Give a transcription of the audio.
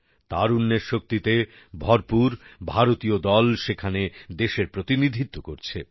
তারুণ্যের শক্তিতে ভরপুর ভারতীয় দল সেখানে দেশের প্রতিনিধিত্ব করছে